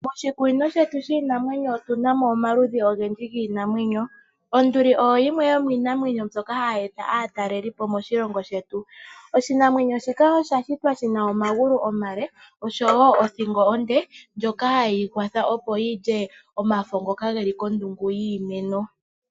Moshikunino shetu shiinamwenyo otunamo omaludhi ogendji giinamwenyo, onduli oyo yimwe ndjoka ha yeeta aatalelipo moshilongo shetu. oshinamwenyo shika osha shitwa shina omagulu omale osho wo othingo onde, ndjoka hayiyi kwatha opo yilye omafa ngoka geli kondungu yiimeno.